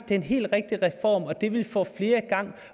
den helt rigtige reform og at den ville få flere i gang